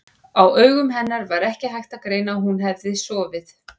Á augum hennar var ekki hægt að greina að hún hefði sofið.